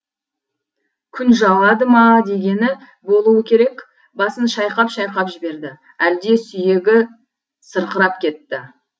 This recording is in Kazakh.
күн жауады ма дегені болуы керек басын шайқап шайқап жіберді әлде сүйегі сырқырап кетті